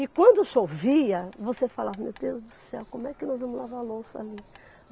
E quando chovia, você falava, meu Deus do céu, como é que nós vamos lavar louça ali?